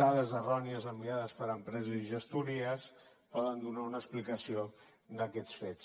dades errònies enviades per empreses i gestories poden donar una explicació d’aquests fets